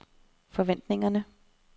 forventningerne